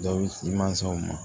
Dɔw bɛ di mansaw ma